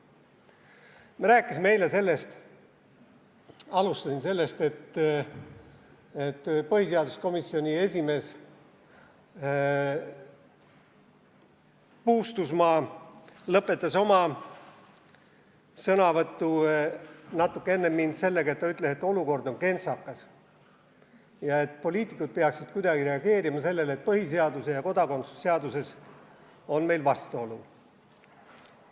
Me rääkisime eile sellest, et põhiseaduskomisjoni esimees Puustusmaa lõpetas oma sõnavõtu natuke enne mind sellega, et ütles: olukord on kentsakas ja poliitikud peaksid kuidagi reageerima sellele, et põhiseaduses ja kodakondsuse seaduses on meil vastuolu.